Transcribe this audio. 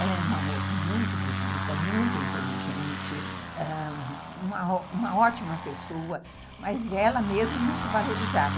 Ela é uma moça muito bonita, muito inteligente, ãh, uma ótima pessoa, mas ela mesmo não se valorizava.